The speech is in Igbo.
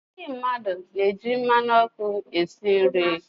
Ndị mmadụ na-eji mmanụ ọkụ esi nri.